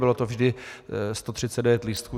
Bylo to vždy 139 lístků.